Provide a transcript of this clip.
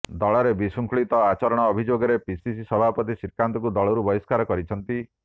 ଦଳରେ ବିଶୃଙ୍ଖଳିତ ଆଚରଣ ଅଭିଯୋଗରେ ପିସିସି ସଭାପତି ଶ୍ରୀକାନ୍ତଙ୍କୁ ଦଳରୁ ବହିଷ୍କାର କରିଛନ୍ତି